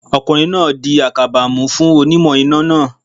Ọkùnrin náà di àkàbà mú fún onímọ̀ iná náà